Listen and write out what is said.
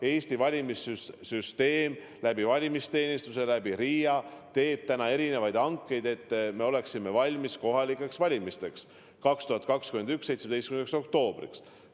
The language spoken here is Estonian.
Eesti valimissüsteemi huvides tehakse valimisteenistuse ja RIA kaudu erinevaid hankeid, et me oleksime valmis kohalikeks valimisteks, 2021. aasta 17. oktoobriks.